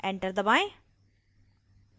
enter दबाएं